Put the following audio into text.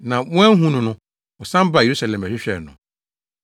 Na wɔanhu no no, wɔsan baa Yerusalem bɛhwehwɛɛ no.